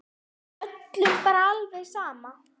Er öllum bara alveg sama?